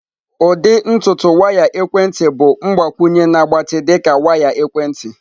Ụdị ntutu waya ekwentị bụ mgbakwunye na-agbatị dị ka waya ekwentị.